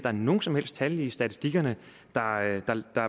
er nogen som helst tal i statistikkerne